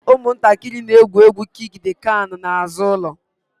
Ụmụntakịrị na-egwu egwu kiik d kan n'azụ ụlọ